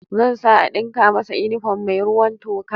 Zan sa a dinka masa inifom mai ruwan toka